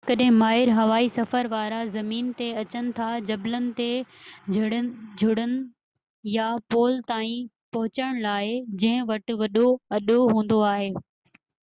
ڪڏهن ڪڏهن ماهر هوائي سفر وارا زمين تي اچن ٿا جبلن تي چڙهن يا پول تائين پهچڻ لاءِ جنهن وٽ وڏو اڏو هوندو آهي